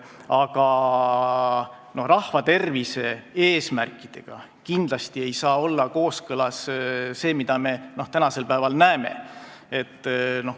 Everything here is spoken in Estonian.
Aga rahvatervise eesmärkidega ei saa kindlasti olla kooskõlas see, mida me tänasel päeval näeme.